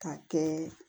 K'a kɛ